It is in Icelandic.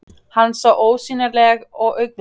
Hann sá ósýnileg augnatillit þeirra engum öðrum ætluð.